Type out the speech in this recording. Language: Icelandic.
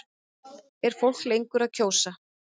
Er fólk lengur að kjósa?